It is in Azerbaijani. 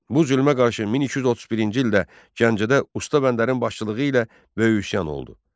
Bu zülmə qarşı 1231-ci ildə Gəncədə Usta Bəndərin başçılığı ilə böyük üsyan oldu.